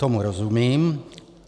Tomu rozumím.